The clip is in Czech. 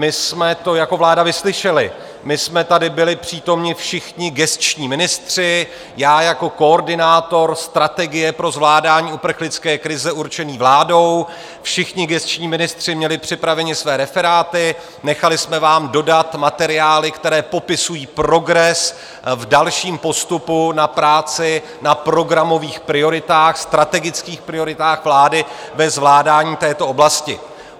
My jsme to jako vláda vyslyšeli, my jsme tady byli přítomni všichni gesční ministři, já jako koordinátor strategie pro zvládání uprchlické krize určený vládou, všichni gesční ministři měli připraveni své referáty, nechali jsme vám dodat materiály, které popisují progres v dalším postupu na práci na programových prioritách, strategických prioritách vlády ve zvládání této oblasti.